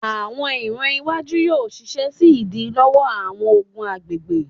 Awọn iran iwaju yoo ṣiṣẹ si idilọwọ awọn ogun agbegbe